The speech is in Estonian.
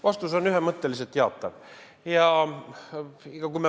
Vastus on ühemõtteliselt jaatav.